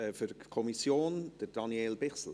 Für die Kommission spricht Daniel Bichsel.